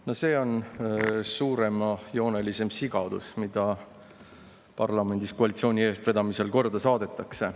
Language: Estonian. No see on suuremajooneline sigadus, mida parlamendis koalitsiooni eestvedamisel korda saadetakse.